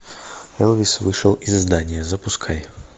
элвис вышел из здания запускай